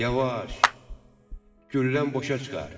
Yavaş, güllən boşa çıxar.